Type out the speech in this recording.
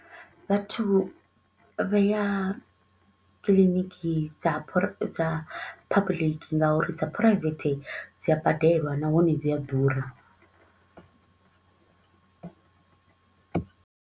Vhathu vha ya clinic dza dza public nga uri dza private dzi a badelwa nahone dzi a ḓura.